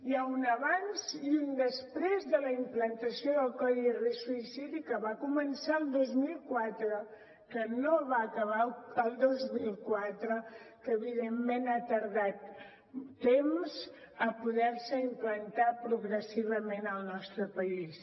hi ha un abans i un després de la implantació del codi risc suïcidi que va començar el dos mil quatre que no va acabar el dos mil quatre que evidentment ha tardat temps a poder se implantar progressivament al nostre país